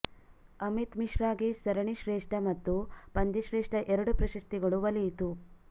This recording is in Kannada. ಅಮಿತ್ ಮಿಶ್ರಾಗೆ ಸರಣಿ ಶ್ರೇಷ್ಠ ಮತ್ತು ಪಂದ್ಯಶ್ರೇಷ್ಠ ಎರಡೂ ಪ್ರಶಸ್ತಿಗಳು ಒಲಿಯಿತು